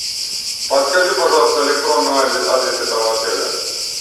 подскажи пожалуйста электронный адрес этого отеля